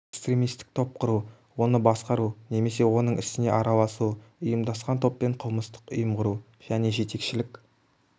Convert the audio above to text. экстремистік топ құру оны басқару немесе оның ісіне араласу ұйымдасқан топпен қылмыстық ұйым құру және жетекшілік